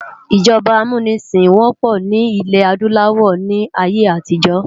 ijọba ámúnisin wòpò ni ilè-ádùláwò ni àiyé átijò